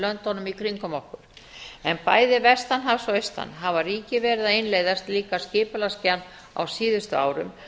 löndunum í kringum okkur en bæði vestan hafs og austan hafa ríkið verið að innleiða slíka skipulagsgerð á síðustu árum